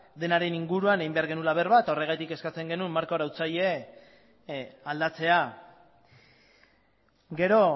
denaren inguruan egin behar genuela berba eta horregatik eskatzen genuen marko arautzaile aldatzea gero